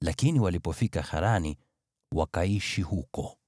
Lakini walipofika Harani, wakaishi huko.